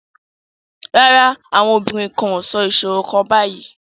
No, the women are not saying a riddle right now